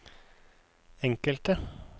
enkelte